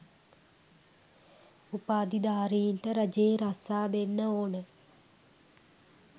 උපාධිධාරීන්ට රජයේ රස්සා දෙන්න ඕන